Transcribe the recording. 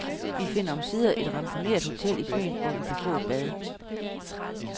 Vi finder omsider et ramponeret hotel i byen, hvor vi kan få et bad.